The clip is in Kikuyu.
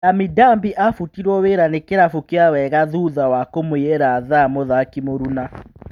Lami Ndambi afutirwo wĩra ni kĩrabu kĩa Wega thutha wa kũmũiĩra thaa mũthaki mũruna.